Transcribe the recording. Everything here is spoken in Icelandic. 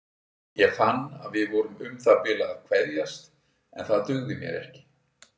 Ég fann að við vorum um það bil að kveðjast en það dugði mér ekki.